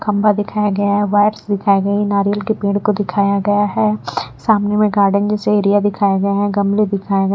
खंबा दिखाया गया है वाइट्स दिखाई गई है नारियल के पेड़ को दिखाया गया है सामने में गार्डन जैसे एरिया दिखाया गया है गमले दिखाया --